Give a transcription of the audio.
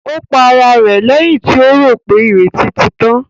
Ó para rẹ̀ lẹ́yìn tí rò pé ìrètí ti tán.